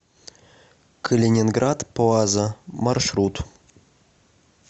калининград плаза маршрут